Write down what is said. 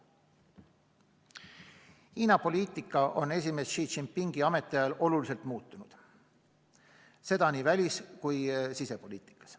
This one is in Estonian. Hiina poliitika on esimees Xi Jinpingi ametiajal oluliselt muutunud, seda nii välis- kui sisepoliitikas.